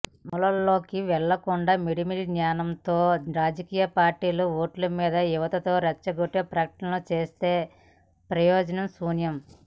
మూలాల్లోకి వెళ్లకుండా మిడిమిడి జ్ఞానంతో రాజకీయ పార్టీలు ఓట్లమీద యావతో రెచ్చగొట్టే ప్రకటనలు చేస్తే ప్రయోజనం శూన్యం